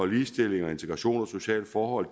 ligestilling integration og sociale forhold